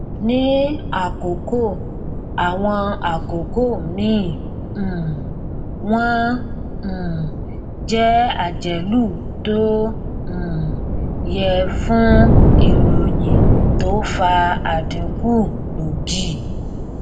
ní àwọn àkókò àwọn àkókò míì um wọn um jẹ àjálù tó um yẹ fún ìròyìn tó fa àdínkù gbòógì